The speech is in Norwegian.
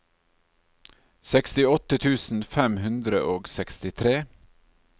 sekstiåtte tusen fem hundre og sekstitre